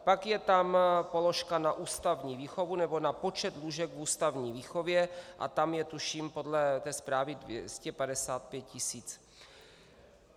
Pak je tam položka na ústavní výchovu nebo na počet lůžek v ústavní výchově a tam je tuším podle té zprávy 255 tisíc.